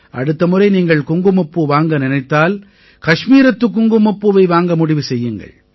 அடுத்த முறை நீங்கள் குங்குமப்பூ வாங்க நினைத்தால் கஷ்மீரத்துக் குங்குமப்பூவை வாங்க முடிவு செய்யுங்கள்